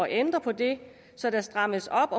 ændre på det så der strammes op